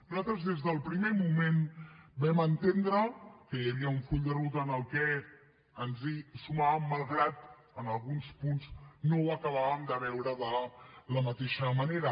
nosaltres des del primer moment vam entendre que hi havia un full de ruta al que ens hi sumàvem malgrat que en alguns punts no ho acabàvem de veure de la mateixa manera